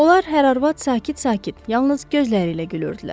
Onlar hər arvad sakit-sakit, yalnız gözləri ilə gülürdülər.